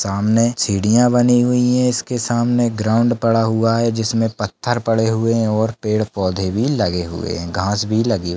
सामने सीढ़िया बनी हुई है इसके सामने ग्राउंड पड़ा हुआ है जिसमे पत्थर पड़े हुए है और पेड़ पौंधे भी लगे हुए है घास भी लगी--